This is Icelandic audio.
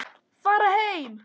Fara heim!